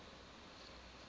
fiber optic cable